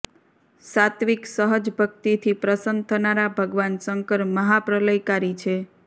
સાત્વીક સહજ ભકિતથી પ્રસન્ન થનારા ભગવાન શંકર મહાપ્રલયકારી છે